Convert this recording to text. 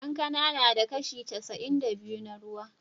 Kankana tana da kashi casa'in da biyu na ruwa.